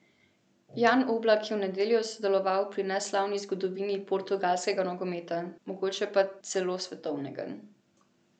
Jan Oblak je v nedeljo sodeloval pri neslavni zgodovini portugalskega nogometa, mogoče pa celo svetovnega.